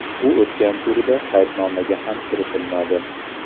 U o‘tgan turda qaydnomaga ham kiritilmadi.